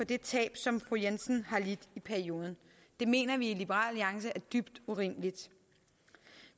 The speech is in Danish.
det tab som fru jensen har lidt i perioden det mener vi i liberal alliance er dybt urimeligt